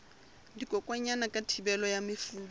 dikokwanyana ka thibelo ya mefuta